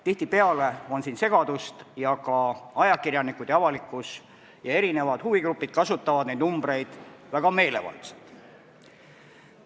Tihtipeale on siin segadust ning ajakirjanikud, avalikkus ja erinevad huvigrupid kasutavad neid numbreid väga meelevaldselt.